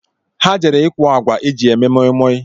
Ha jere ikwọ agwa e ji eme moimoi